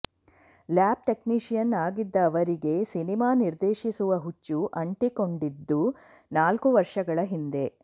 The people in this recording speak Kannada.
ಲ್ಯಾಬ್ ಟೆಕ್ನಿಷಿಯನ್ ಆಗಿದ್ದ ಅವರಿಗೆ ಸಿನಿಮಾ ನಿರ್ದೇಶಿಸುವ ಹುಚ್ಚು ಅಂಟಿಕೊಂಡಿದ್ದು ನಾಲ್ಕು ವರ್ಷಗಳ ಹಿಂದೆ